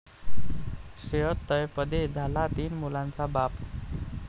श्रेयस तळपदे झाला तीन मुलांचा बाप